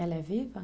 Ela é viva?